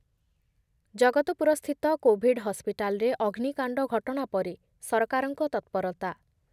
Jagatpur Covid କୋଭିଡ୍ ହସ୍‌ପିଟାଲରେ ଅଗ୍ନିକାଣ୍ଡ ଘଟଣା ପରେ ସରକାରଙ୍କ ତତ୍ପରତା